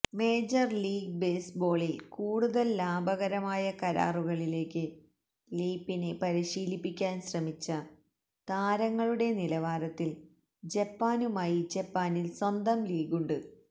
major league ബേസ്ബോളിൽ കൂടുതൽ ലാഭകരമായ കരാറുകളിലേക്ക് ലീപ്പിനെ പരിശീലിപ്പിക്കാൻ ശ്രമിച്ച താരങ്ങളുടെ നിലവാരത്തിൽ ജപ്പാനുമായി ജപ്പാനിൽ സ്വന്തം ലീഗുണ്ട്